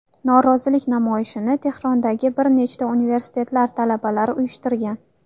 Norozilik namoyishini Tehrondagi bir nechta universitetlar talabalari uyushtirgan.